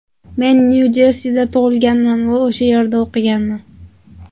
Men Nyu-Jersida tug‘ilganman va o‘sha yerda o‘qiganman.